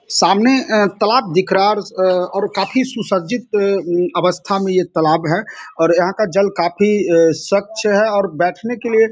सामने अ तालाब दिख रहा है उस और अं काफी सुसज्जित अं अवस्था में यह तालाब है और यहाँ का जल काफी अ स्वच्छ है और बैठने के लिए --